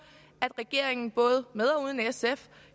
at regeringen både med og uden sf